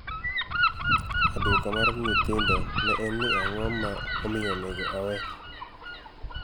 Aduoka '' mar nyithindo ne en ni'ang'o ma omiyo onego awee?